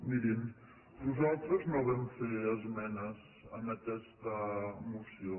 mirin nos·altres no vam fer esmenes en aquesta moció